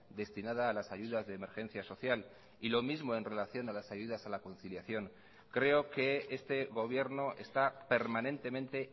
destinada a las ayudas de emergencia social y lo mismo en relación a las ayudas a la conciliación creo que este gobierno está permanentemente